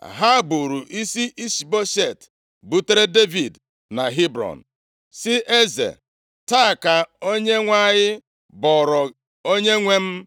Ha buuru isi Ishboshet butere Devid na Hebrọn, sị eze, “Taa ka Onyenwe anyị bọọrọ onyenwe m